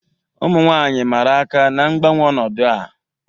Ụmụ nwanyị mara aka na-ngbanwe ọnọdụ a.